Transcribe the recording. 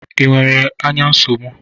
Ị nwere ányá nsogbu?